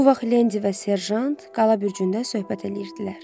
Bu vaxt Lendi və Serjant Qala Bürcündə söhbət eləyirdilər.